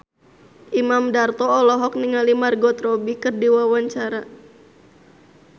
Imam Darto olohok ningali Margot Robbie keur diwawancara